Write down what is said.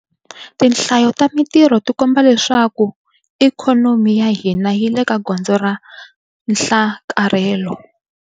Tinhlayo ta mitirho ti komba leswaku ikhonomi ya hina yi le ka gondzo ra nhlakarhelo.